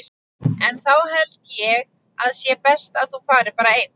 En þá held ég að sé best að þú farir bara einn!